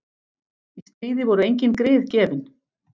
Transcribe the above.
Í stríði voru engin grið gefin.